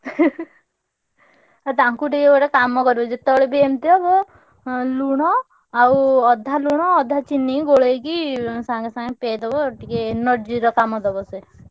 ଆଉ ତାଙ୍କୁ ଟିକେ ଗୋଟେ କାମ କରିବ ଯେତବେଳେ ବି ଏମିତି ହବ ଅଁ ଲୁଣ ଆଉ ଅଧା ଲୁଣ ଅଧା ଚିନି ଗୋଳେଇକି ସାଙ୍ଗେ ସାଙ୍ଗେ ପିଆଇ ଦବ ଟିକେ energy ର କାମ ଦବ ସିଏ।